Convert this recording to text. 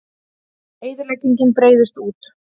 Eyðileggingin breiðist út